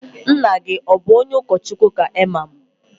Nna gi o bu onye okochukwu ka imam?